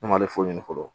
Ne ma ale foyi ɲini fɔlɔ